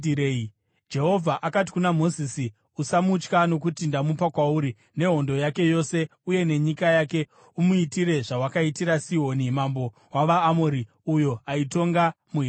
Jehovha akati kuna Mozisi, “Usamutya, nokuti ndamupa kwauri, nehondo yake yose uye nenyika yake. Umuitire zvawakaitira Sihoni mambo wavaAmori, uyo aitonga muHeshibhoni.”